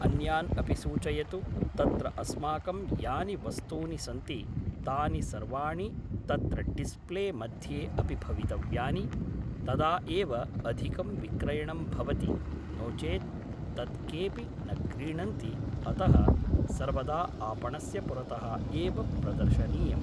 अन्यान् अपि सूचयतु तत्र अस्माकं यानि वस्तूनि सन्ति तानि सर्वाणि तत्र डिस्प्ले मध्ये अपि भवितव्यानि तदा एव अधिकं विक्रयणं भवति नो चेत् तत् केपि न क्रीणन्ति अतः सर्वदा आपणस्य पुरतः एव प्रदर्शनीयम्